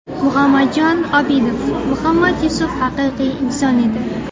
Muhammadjon Obidov: Muhammad Yusuf haqiqiy inson edi.